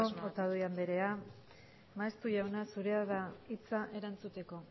otadui andrea maeztu jauna zurea da hitza erantzuteko